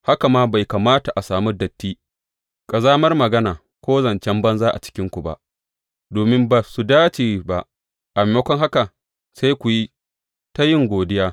Haka ma bai kamata a sami datti, ƙazamar magana, ko zancen banza a cikinku ba, domin ba su dace ba, a maimakon haka sai ku yi ta yin godiya.